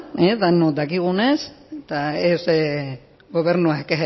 denok dakigunez eta ez gobernuak